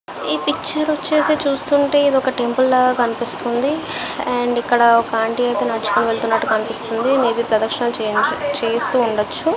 ఇ picture వచ్చేసి చూస్తూవుంటే ఇది ఓక టెంపుల్ లాగా కనిపిస్తుంది అండ్ ఇక్కడ ఒక ఆంటీ నడుచుకుని వెలుతుంది కనిపిస్తుంది మే బి ప్రదక్షణలు చేయించు చేస్తూవుండవచ్చు.